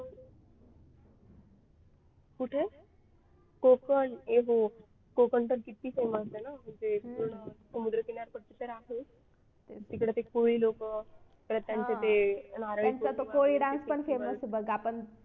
कुठे कोकण कोकण पण किती famous आहे ना म्हणजे पूर्ण समुद्र किनारपट्टी तर आहेच तिकडे ते कोळी लोक परत त्यांचं ते